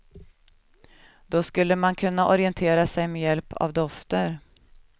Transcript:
Då skulle man kunna orientera sig med hjälp av dofter.